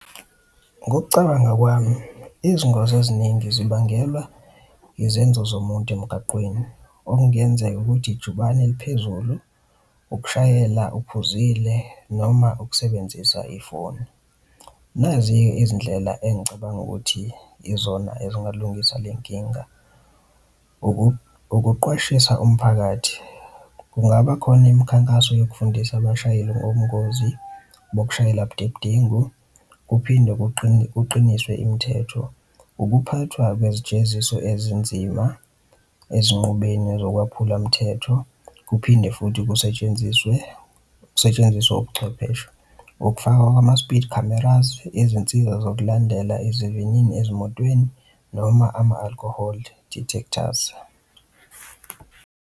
Ngokucabanga kwami, izingozi eziningi zibangelwa izenzo zomuntu emgaqweni, okungenzeka ukuthi ijubane liphezulu, ukushayela uphuzile, noma ukusebenzisa ifoni. Nazi-ke izindlela engicabanga ukuthi izona ezingalungisa le nkinga. Ukuqwashisa umphakathi, kungaba khona imikhankaso yokufundisa abashayeli ngobungozi bokushayela budedengu kuphinde kuqiniswe imithetho. Ukuphathwa kwezijeziso ezinzima ezinqubeni zokwephula mthetho, kuphinde futhi kusetshenziswe ukusetshenziswa ubuchwepheshe, ukufakwa kwama-speed cameras, izinsiza zokulandela izivinini ezimotweni, noma ama-alcohol detectors.